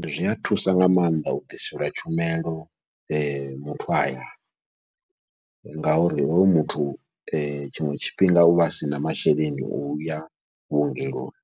Zwi a thusa nga maanḓa u ḓiselwa tshumelo muthu a hayani, ngauri hoyu muthu tshiṅwe tshifhinga uvha asina masheleni o uya vhuongeloni,